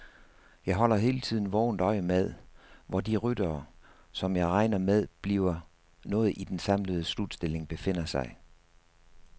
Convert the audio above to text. Jeg holder hele tiden vågent øje med, hvor de ryttere, som jeg regner med bliver noget i den samlede slutstilling, befinder sig.